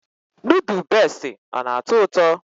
Nudu beesti ọ na-atọ ụtọ?